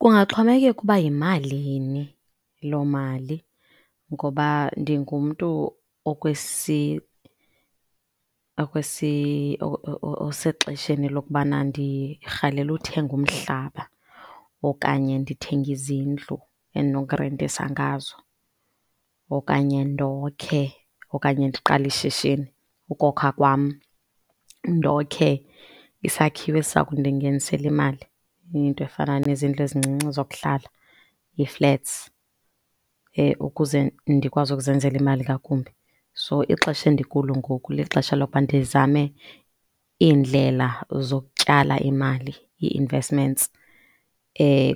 Kungaxhomekeka uba yimalini loo mali ngoba ndingumntu osexesheni lokubana ndirhalela uthenga umhlaba okanye ndithenge izindlu endinokurentisa ngazo okanye ndokhe okanye ndiqale ishishini. Ukokha kwam ndokhe isakhiwo esisakundingenisela imali. Into efana nezindlu ezincinci zokuhlala, iflats, ukuze ndikwazi ukuzenzela imali ngakumbi. So, ixesha endikulo ngoku lixesha lokuba ndizame iindlela zokutyala imali, ii-investments.